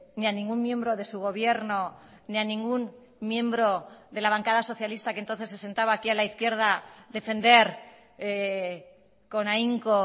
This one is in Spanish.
ni a ningún miembro de su gobierno ni a ningún miembro de la bancada socialista que entonces se sentaba aquí a la izquierda defender con ahínco